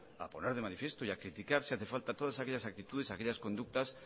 a poner de manifiesto y a criticar si hace falta aquellas todas actitudes aquellas conductas